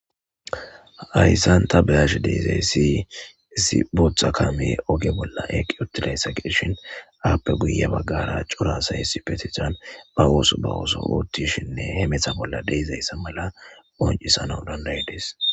ayssan ta beyash deizay si isi bootha kame oge bolla eqi otilayssaqishin aappe guya baggara cura sa essi petehan ba ooso bawooso oottishinne he metha bolla deizayssa mala oncisanau danday dees